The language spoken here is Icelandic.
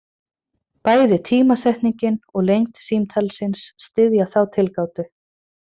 Bæði tímasetningin og lengd símtalsins styðja þá tilgátu.